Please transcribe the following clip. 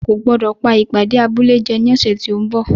O kò gbọ́dọ̀ pá ìpàdé abúlé jẹ ní ọ̀sẹ̀ tí ó ń bọ̀.